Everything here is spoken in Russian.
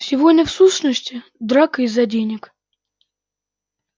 все войны в сущности драка из-за денег